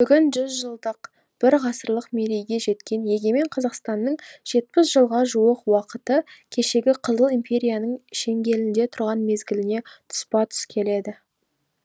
бүгін жүз жылдық бір ғасырлық мерейге жеткен егемен қазақстанның жетпіс жылға жуық уақыты кешегі қызыл империяның шеңгелінде тұрған мезгіліне тұспа тұс келді